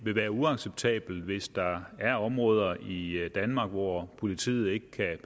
vil være uacceptabelt hvis der er områder i danmark hvor politiet ikke kan